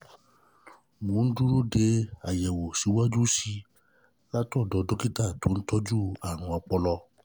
Mo ń dúró de àyẹ̀wò síwájú sí i látọ̀dọ̀ dókítà tó ń tó ń tọ́jú àrùn ọpọlọ